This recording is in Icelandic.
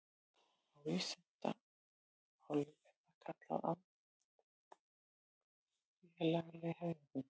Á vísindamáli er það kallað andfélagsleg hegðun.